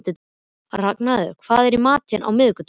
Arngarður, hvað er í matinn á miðvikudaginn?